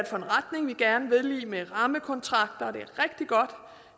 for en retning vi gerne vil i med rammekontrakter det